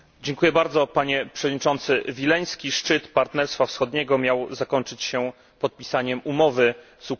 Panie Przewodniczący, Wileński szczyt Partnerstwa Wschodniego miał zakończyć się podpisaniem umowy z Ukrainą.